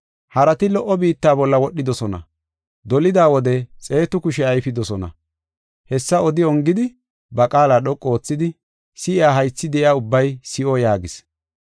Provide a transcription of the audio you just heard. Harati lo77o biitta bolla wodhidosona. Dolida wode xeetu kushe ayfidosona.” Hessa odi ongidi, ba qaala dhoqu oothidi, “Si7iya haythi de7iya ubbay si7o” yaagis.